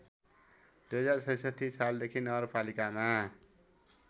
२०६६ सालदेखि नगरपालिकामा